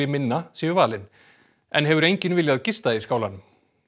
minna séu valin enn hefur enginn viljað gista í skálanum